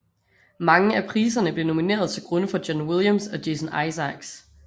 Mange af priserne blev nomineret til grunde for John Williams og Jason Isaacs